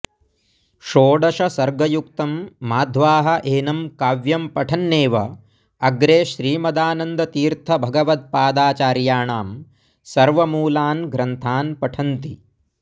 षोडशसर्गयुक्तम् माध्वाः एनम् काव्यम् पठन्नेव अग्रे श्रीमदानन्दतीर्थभगवत्पदाचार्याणाम् सर्वमूलान् ग्रन्थान् पठन्ति